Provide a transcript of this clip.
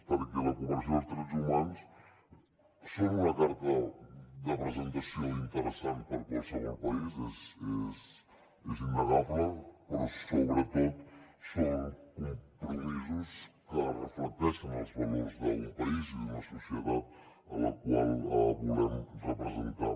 perquè la cooperació i els drets humans són una carta de presentació interessant per a qualsevol país és innegable però sobretot són compromisos que reflecteixen els valors d’un país i d’una societat a la qual volem representar